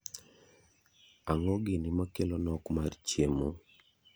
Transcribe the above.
Ang'o gini makelo nok mar chiemo?